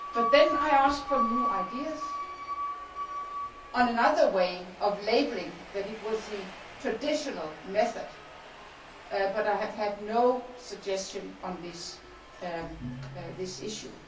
I then asked for new ideas on another way of labelling that it was the traditional method, but I have had no suggestions on this issue.